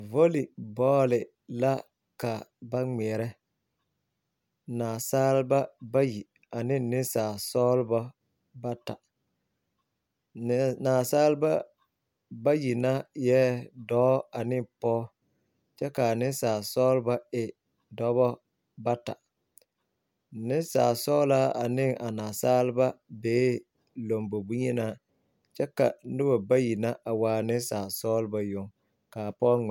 Vɔli bɔɔli la ka ba ŋmeɛrɛ naasaalba bayi ane neŋsaalsɔglebɔ bata nɛɛ naasaalba bayi na eɛɛ dɔɔ ane pɔge kyɛ kaa neŋsaasɔglebɔ e dɔbɔ bata nensaalsɔglaa ane a naasaalba bee lɔmbo bonyenaa kyɛ ka nobɔ bayi na a waa nensaalsɔglebɔ yoŋ kaa pɔge ŋmɛ.